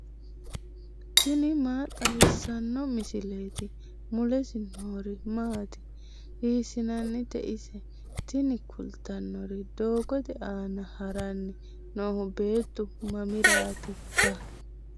tini maa xawissanno misileeti ? mulese noori maati ? hiissinannite ise ? tini kultannori doogote aana haranni noohu beetu mamiraattikka